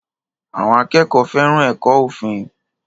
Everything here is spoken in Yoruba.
Àwọn akẹ́kọ̀ọ́ fẹ́ràn ẹ̀kọ́ òfin